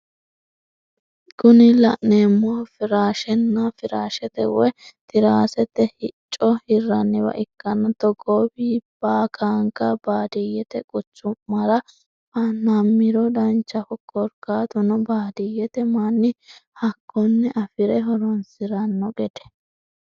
Kuni la'neemohu firashenna firaashete woye tiraasete hicco hirranniwa ikkanna togoowi baakanka baadiyyete quchummara fa'namiro danchaho korkaatuno baadiyyete manni hakkoni afire horonsiranno gede.